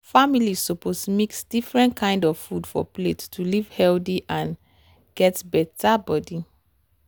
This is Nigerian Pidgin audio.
families suppose mix different kind of food for plate to live healthy and get better body.